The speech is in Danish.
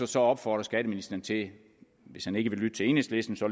så opfordre skatteministeren til hvis han ikke vil lytte til enhedslisten så